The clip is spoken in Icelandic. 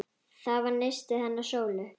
Það var nistið hennar Sólu.